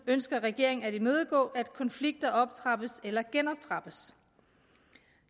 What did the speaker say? ønsker regeringen at imødegå at konflikter optrappes eller genoptrappes